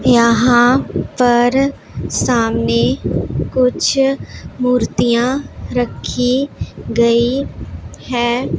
यहां पर सामने कुछ मूर्तियां रखी गई हैं।